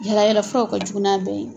Yala yala fura o ka jugu n'a bɛɛ ye.